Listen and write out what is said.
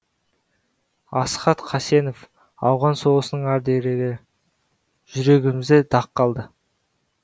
асхат қасенов ауған соғысының ардагері жүрегімізде дақ қалды